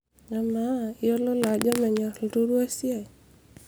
amaa iyiololo ajo menyor ilturua esiai?